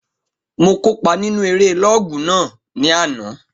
Mo kópa nínu eré lọ́ọ̀gù náà ní àná